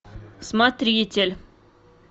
смотритель